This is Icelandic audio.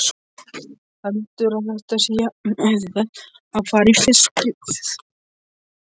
Heldurðu að þetta sé jafnauðvelt og að fara í fiskbúð?